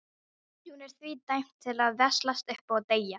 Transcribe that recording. Hún er því dæmd til að veslast upp og deyja.